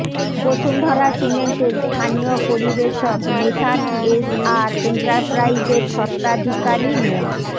বসুন্ধরা সিমেন্টের স্থানীয় পরিবেশক মেসার্স এস আর এন্টারপ্রাইজের স্বত্বাধিকারী মো